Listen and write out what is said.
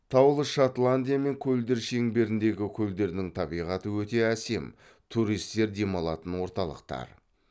таулы шотландия мен көлдер шеңберіндегі көлдердің табиғаты өте әсем туристер демалатын орталықтар